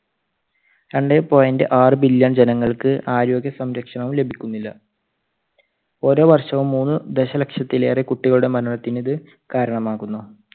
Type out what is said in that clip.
രണ്ടേ point ആറ് billion ജനങ്ങൾക്ക് ആരോഗ്യ സംരക്ഷണവും ലഭിക്കുന്നില്ല. ഓരോ വർഷവും മൂന്ന് ദശലക്ഷത്തിലേറെ കുട്ടികളുടെ മരണത്തിന് ഇത് കാരണമാകുന്നു.